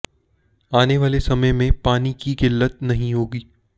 आने वाले समय मे पानी की किल्लत नही होगी